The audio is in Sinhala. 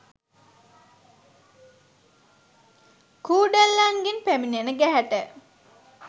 කූඩැල්ලන්ගෙන් පැමිණෙන ගැහැට